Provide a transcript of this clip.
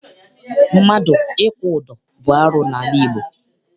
Mmadụ ịkwụ ụdọ bụ arụ n'ala Igbo.